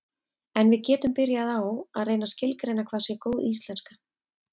en við getum byrjað á að reyna að skilgreina hvað sé góð íslenska